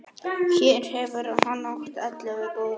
Hér hefur hann átt ellefu góð ár.